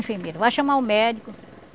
Enfermeira, vá chamar o médico.